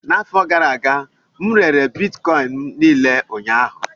N'afọ gara aga, m rere Bitkọịn m niile ụnyaahụ